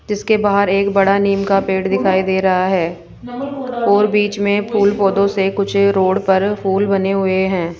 जीसके बाहर एक बड़ा नीम का पेड़ दिखाई दे रहा है और बीच में फूल पौधों से कुछ रोड पर फूल बने हुए हैं।